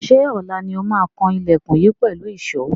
Ṣé ọ̀la ni ó máa kan ilẹkùn yìí pẹ̀lú ìṣó?